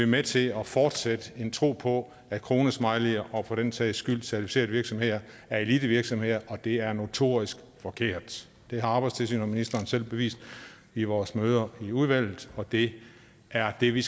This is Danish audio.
med til at fortsætte en tro på at kronesmileyer og for den sags skyld certificerede virksomheder er elitevirksomheder og det er notorisk forkert det har arbejdstilsynet og ministeren selv bevist i vores møder i udvalget og det er det vi